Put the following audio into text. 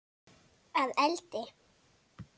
Að eldi?